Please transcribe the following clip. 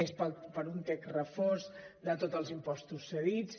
és per un text refós de tots els impostos cedits